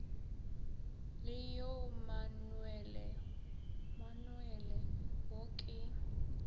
le yoe manuale wo ke